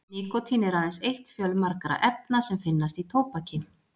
Nikótín er aðeins eitt fjölmargra efna sem finnast í tóbaki.